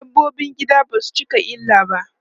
Dabbobin gida basu cika illa ba.